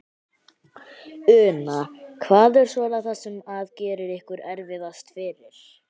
Una: Hvað er svona það sem að gerir ykkur erfiðast fyrir?